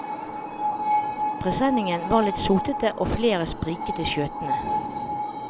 Presenningene var litt sotete og flere spriket i skjøtene.